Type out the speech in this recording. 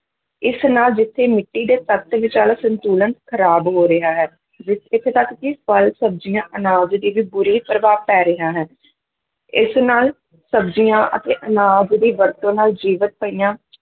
ਇਸ ਨਾਲ ਜਿੱਥੇ ਮਿੱਟੀ ਦੇ ਤੱਤ ਵਿਚਲਾ ਸੰਤੁਲਨ ਖਰਾਬ ਹੋ ਰਿਹਾ ਹੈ, ਵੀ ਇੱਥੇ ਤੱਕ ਕਿ ਫਲ, ਸਬਜ਼ੀਆਂ, ਅਨਾਜ ਤੇ ਵੀ ਬੁਰੇ ਪ੍ਰਭਾਵ ਪੈ ਰਿਹਾ ਹੈ ਇਸ ਨਾਲ ਸਬਜ਼ੀਆਂ ਅਤੇ ਅਨਾਜ ਦੀ ਵਰਤੋਂ ਨਾਲ ਜੀਵਿਤ ਪਈਆਂ